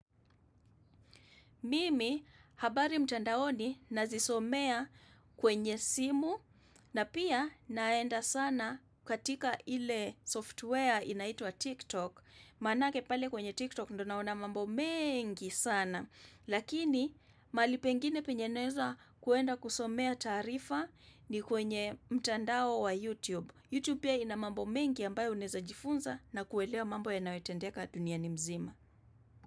Mimi habari mtandaoni nazisomea kwenye simu na pia naenda sana katika ile software inaitwa TikTok. Manake pale kwenye TikTok ndio naona mambo mengi sana. Lakini maali pengine penye neeza kuenda kusomea taarifa ni kwenye mtandao wa YouTube. YouTube pia ina mambo mengi ambayo unaeza jifunza na kuelewa mambo yanayotendeka dunia ni mzima.